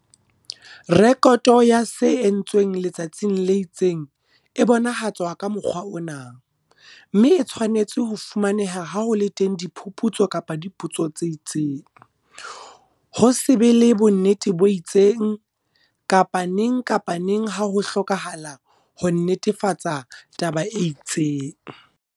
Rekoto ya se entsweng letsatsing le itseng e bonahatswa ka mokgwa ona, mme e tshwanetse ho fumaneha ha ho le teng diphuputso kapa dipotso tse itseng, ho se be le bonnete bo itseng, kapa neng kapa neng ha ho hlokahala ho nnetefatsa taba e itseng.